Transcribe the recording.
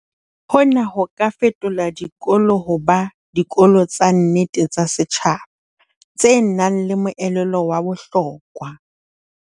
Hona ho ka fetola dikolo ho ba "dikolo tsa nnete tsa setjhaba" tse nang le moelelo wa bohlokwa.